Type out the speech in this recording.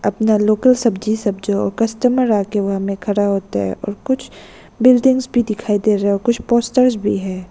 अपना लोकल सब्जी सब जो कस्टमर आके वहां में खड़ा होता है और कुछ बिल्डिंग्स भी दिखाई दे रहा है और कुछ पोस्टर्स भी है।